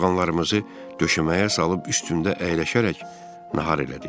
Yorğanlarımızı döşəməyə salıb üstündə əyləşərək nahar elədik.